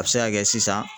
A bɛ se ka kɛ sisan